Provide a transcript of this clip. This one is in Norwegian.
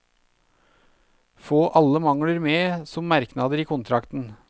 Få alle mangler med som merknader i kontrakten.